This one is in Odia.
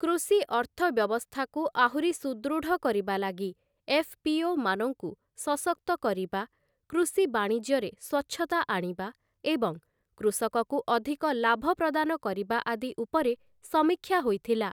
କୃଷି ଅର୍ଥବ୍ୟବସ୍ଥାକୁ ଆହୁରି ସୁଦୃଢ଼ କରିବା ଲାଗି ଏଫ୍‌.ପି.ଓ.ମାନଙ୍କୁ ସଶକ୍ତ କରିବା, କୃଷି ବାଣିଜ୍ୟରେ ସ୍ଵଚ୍ଛତା ଆଣିବା ଏବଂ କୃଷକକୁ ଅଧିକ ଲାଭ ପ୍ରଦାନ କରିବା ଆଦି ଉପରେ ସମୀକ୍ଷା ହୋଇଥିଲା ।